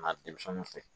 Na denmisɛnninw fɛ